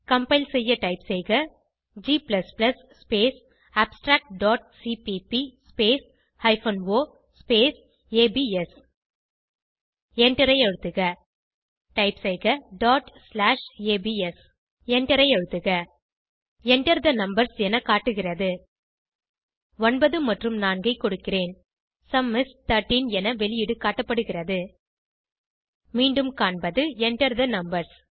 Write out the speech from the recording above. compile செய்ய type செய்க g space abstract dot cpp space hyphen o space abs எண்டரை அழுத்துக டைப் செய்க டாட் ஸ்லாஷ் ஏபிஎஸ் எண்டரை அழுத்துக Enter தே நம்பர்ஸ் என காட்டுகிறது 9 மற்றும் 4 ஐ கொடுக்கிறேன் சும் இஸ் 13 என வெளியீடு காட்டப்படுகிறது மீண்டும் காண்பது Enter தே நம்பர்ஸ்